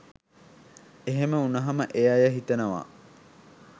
එහෙම වුණහම ඒ අය හිතනවා